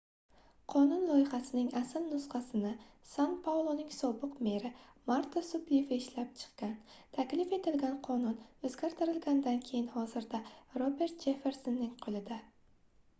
qonun loyihasining asl nusxasini san pauloning sobiq meri marta suplifi ishlab chiqqan taklif etilgan qonun oʻzgartirilgandan keyin hozirda robert jeffersonning qoʻlida